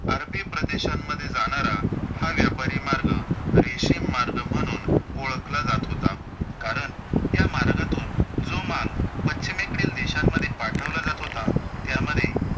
अरबी प्रदेशांमध्ये जाणार हा व्यापारी मार्ग रेशीम मार्ग म्हणून ओळखला जातं होता, कारण या मार्गातून जो माल पश्चिमेकडील देशांमध्ये पाठवला जातं होता, त्यामध्ये